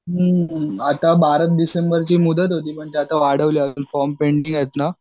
हं आता बारा डिसेंबरची मुदत होती आता अजून वाढवली फॉर्म पेंडिंग आहेत ना